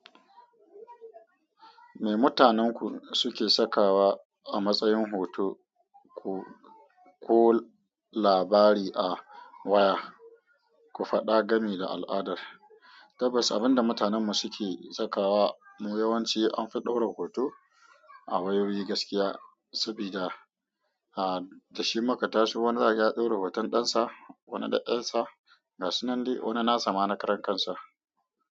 Me mutanenku suke sakawa a matsayin hoto ko labari a waya? Ku faɗa gami da al'adar. Tabbas, abin da mutanenmu suke sakawa mu yawanci an fi ɗaura hoto a wayoyi gaskiya sabida a da shi makatashi wani zaki ya ɗaura hoton ɗansa, wani da ƴarsa, ga sunan di, wani na sama na karen kansa.